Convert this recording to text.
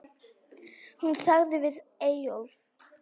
Hún sagði við Eyjólf